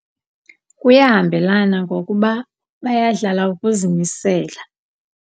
Kuyahambelana ngokuba bayadlala ukuzimisela.